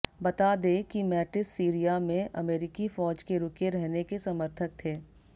बता दे की मैटिस सीरिया में अमेरिकी फौज के रुके रहने के समर्थक थे